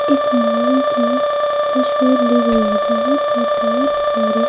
एक मॉल की तशवीर ली गई है जहां पर बहुत सारे--